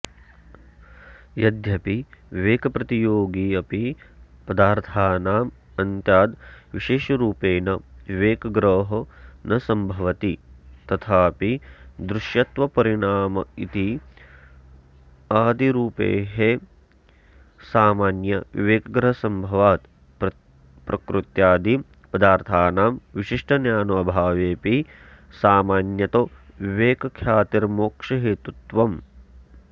यद्यपि विवेकप्रतियोगिपदार्थानामान्त्याद्विशेषरूपेण विवेकग्रहो न सम्भवति तथापि दृश्यत्वपरिणामित्वादिरूपैः सामान्यविवेकग्रहसम्भवात् प्रकृत्यादिपदार्थानां विशिष्टज्ञानाभावेऽपि सामान्यतो विवेकख्यातेर्मोक्षहेतुत्वम्